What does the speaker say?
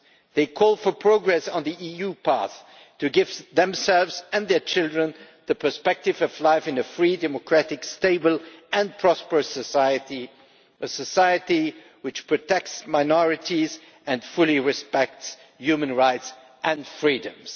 They call for progress on the EU path to give themselves and their children the perspective of life in a free, democratic, stable and prosperous society, a society which protects minorities and fully respects human rights and freedoms.